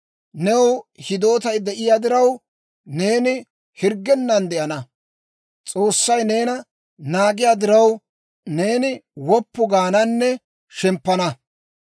New hidootay de'iyaa diraw, neeni hirggennan de'ana. S'oossay neena naagiyaa diraw, neeni woppu gaananne shemppana.